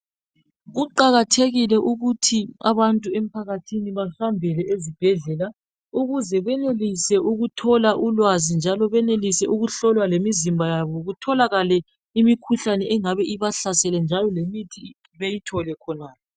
Kuqakathekile ukuthi ubantu emphakathini bahambele ezibhedlela ukuze benelise ukuthola ulwazi njalo benelise ukuhlolwa lemizimba yabo kutholakale imikhuhlane engabe ibahlasele njalo lemithi beyithole khonala.